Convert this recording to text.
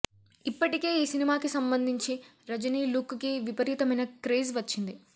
ఇప్పటికే ఈ సినిమాకి సంబంధించి రజనీ లుక్ కి విపరీతమైన క్రేజ్ వచ్చింది